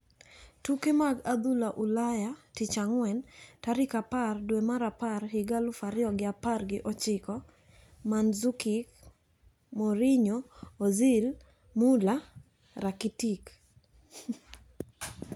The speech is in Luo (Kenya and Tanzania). Tuke mag adhula Ulaya Tich Ang'wen, tarik apar dwe mar apar higa aluf ariyo gi apar gi ochiko: Mandzukic, Mourinho, Ozil, Muller, Rakitic